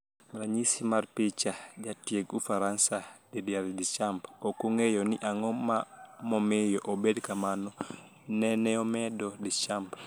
Ranyisi mar picha, Jatieg Ufaransa Didier Dischamps"Ok ang'eyo ni ang'o mamiyo obed kamano, neneomedo Deschamps.